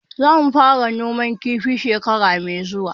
Zamu fara noman kifi shekara mai zuwa.